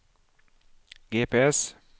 GPS